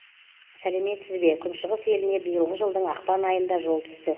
сәлеметсізбе күншығыс еліне биылғы жылдың ақпан айында жол түсті